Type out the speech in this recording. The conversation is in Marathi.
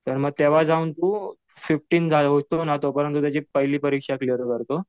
तर मग तेंव्हा जाऊन तू तोपर्यंत तुझी पहिली परीक्षा क्लिअर करतो.